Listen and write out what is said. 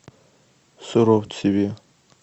суровцеве